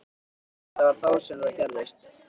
Það var þá sem það gerðist.